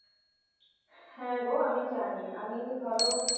হ্যাঁ গো আমি জানি আমি ধরো